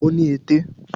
Ó ní ẹ̀tẹ̀